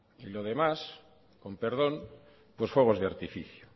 y lo demás con perdón fuegos de artificio